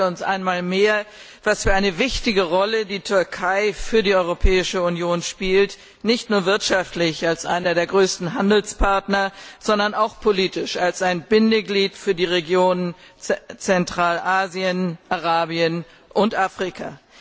Er zeigt uns einmal mehr, welch wichtige Rolle die Türkei für die Europäische Union spielt, nicht nur wirtschaftlich als einer der größten Handelspartner, sondern auch politisch als ein Bindeglied für die Regionen Zentralasien, Arabien und Afrika.